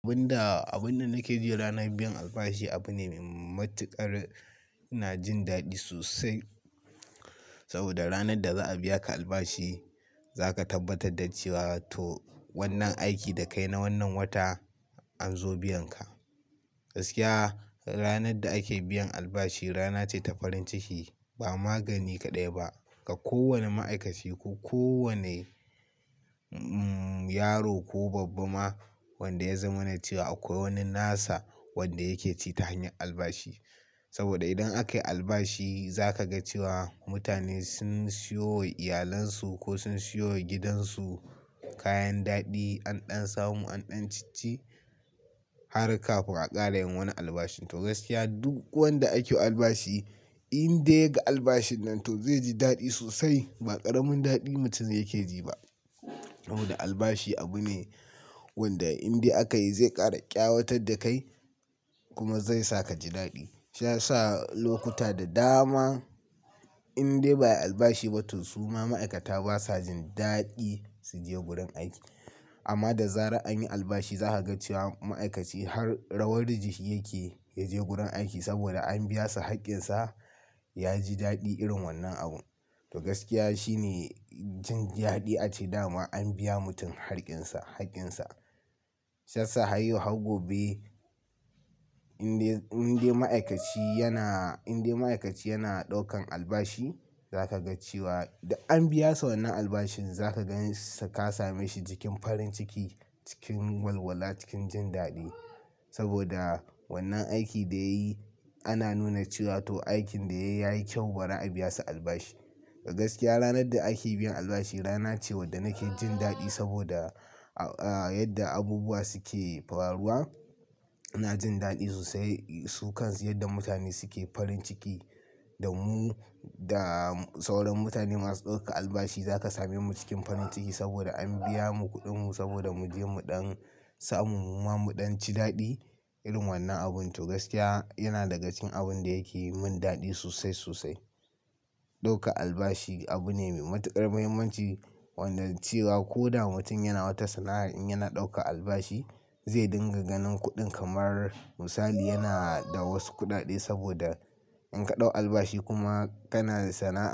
Abin da, abin da nake ji ranar biyan albashi abu ne mai matuƙar-- ina jin daɗi sosai. Saboda ranar da za a biya ka albashi, za ka tabbatar da cewa to wannan aikin da ka yi na wannan watan an zo biyan ka. Gaskiya, ranar da ake biyan albashi rana ce ta farin ciki. Ba magani kaɗai ba ga kowane ma'aikaci ko kowane, umm, yaro ko babba ma wanda ya zauna cewa akwai wani nasa wanda yake ci ta hanyar albashi. Saboda idan aka yi albashi, za ka ga cewa mutane sun siyowa iyalansu ko sun siyowa gidansu kayan daɗi, anɗan samu, anɗan cici har kafin a ƙara yin wani albashi. To gaskiya duk wanda ake albashi indai ga albashin nan to zai ji daɗi sosai. Ba ƙaramin daɗin mutum yake ji ba. Saboda albashi abu ne wanda indai aka yi zai ƙara ƙyawatar da kai kuma zai sa ka ji daɗi. Shi ya sa lokuta da dama indai ba a yi albashi ba to su ma ma'aikata ba sa jin daɗi su je wurin aiki. Amma da zarar anyi albashi za ka ga cewa ma'aikaci har rawar riji shi yake ya je gurin aiki saboda an biya sa haƙƙinsa. Ya ji daɗi irin wannan abu. To gaskiya shi ne jin daɗi ace da ma an biya mutum haƙƙinsa, haƙƙinsa. Shi ya sa har yau har gobe indai, indai ma'aikaci yana, indai ma'aikaci yana ɗaukan albashi, za ka ga cewa da an biya sa wannan albashin za ka gan ka same shi cikin farin ciki, cikin walwala, cikin jin daɗi. Saboda wannan aikin da ya yi ana nuna cewa to aikin da ya yi yayi kyau bara a biya sa albashi. To gaskiya ranar da ake biyan albashi rana ce wadda nake jin daɗi saboda, ah, yadda abubuwa suke faruwa. Ina jin daɗi sosai, su kan su yadda mutane suke farin ciki da mu, da sauran mutane masu ɗauka albashi za ka same mu cikin farin ciki saboda an biya mu kuɗinmu saboda mu je muɗan samu kuma muɗan ci daɗi irin wannan abun. To gaskiya yana daga cikin abin da yake yi mun daɗi sosai, sosai. Ɗauka albashi abu ne mai matuƙar muhimmanci wanda cewa ko da mutum yana wata sana'ar in yana ɗauka albashi zai dinga ganin kuɗin kamar misali yana da wasu kuɗaɗe saboda in ka ɗau albashi kuma kana sana'ar.